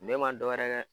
Ne ma dɔwɛrɛ kɛ